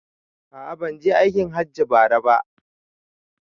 A'a banje aikin hajji bara ba